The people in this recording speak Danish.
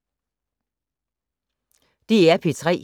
DR P3